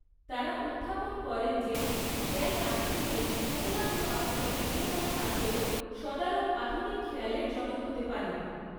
তারা উত্থাপন করেন যে খেয়াল আগে থেকেই কোনো না কোনো আকারে বিদ্যমান থাকলেও সদারং আধুনিক খেয়ালের জনক হতে পারেন।